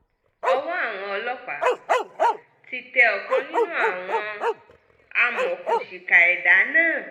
ọwọ́ àwọn ọlọ́pàá ti tẹ ọ̀kan nínú àwọn amọ̀òkùnsíkà ẹ̀dá náà